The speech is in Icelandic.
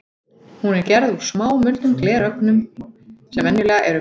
Hún er gerð úr smámuldum glerögnum sem venjulega eru minni en